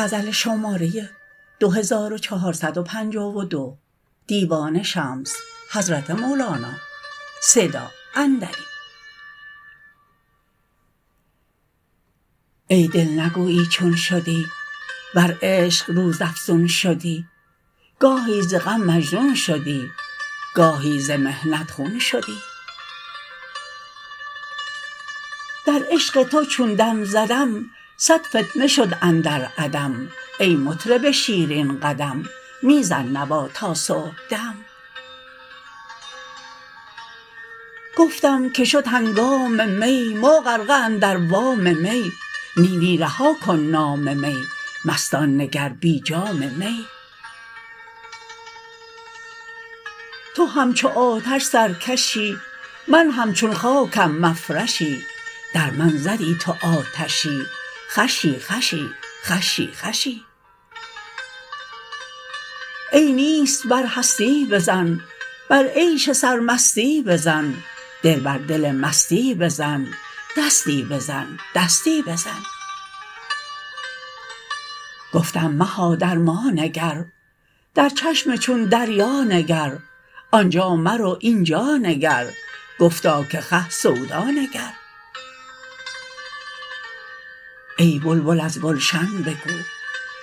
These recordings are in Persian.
ای دل نگویی چون شدی ور عشق روزافزون شدی گاهی ز غم مجنون شدی گاهی ز محنت خون شدی در عشق تو چون دم زدم صد فتنه شد اندر عدم ای مطرب شیرین قدم می زن نوا تا صبحدم گفتم که شد هنگام می ما غرقه اندر وام می نی نی رها کن نام می مستان نگر بی جام می تو همچو آتش سرکشی من همچون خاکم مفرشی در من زدی تو آتشی خوشی خوشی خوشی خوشی ای نیست بر هستی بزن بر عیش سرمستی بزن دل بر دل مستی بزن دستی بزن دستی بزن گفتم مها در ما نگر در چشم چون دریا نگر آن جا مرو این جا نگر گفتا که خه سودا نگر ای بلبل از گلشن بگو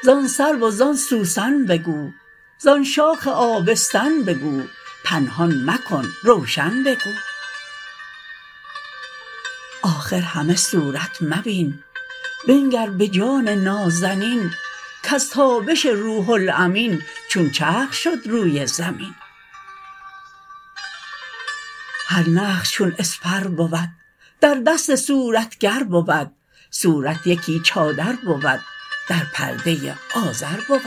زان سرو و زان سوسن بگو زان شاخ آبستن بگو پنهان مکن روشن بگو آخر همه صورت مبین بنگر به جان نازنین کز تابش روح الامین چون چرخ شد روی زمین هر نقش چون اسپر بود در دست صورتگر بود صورت یکی چادر بود در پرده آزر بود